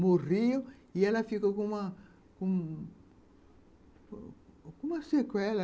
Morriam e ela ficou com uma uma sequela.